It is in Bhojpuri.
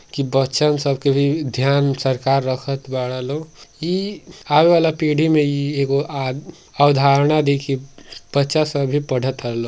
की बच्चन सब के भी ध्यान सरकार रखत बाड़ लोग। ई आवेवाला पीढ़ी में ई एगो आद् अवधारणा दिखी। पच्चा सौ भी पढ़ तार लो --